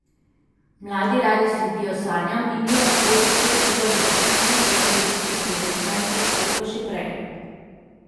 Mladi radi sledijo sanjam in ni lahko, če se je treba za poklicno pot odločiti pri osemnajstih ali pa še prej.